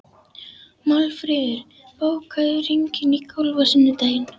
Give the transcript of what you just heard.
Málfríður, bókaðu hring í golf á sunnudaginn.